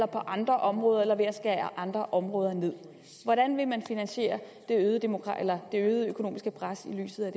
på andre områder eller ved at skære ned andre områder hvordan vil man finansiere det øgede økonomiske pres i lyset af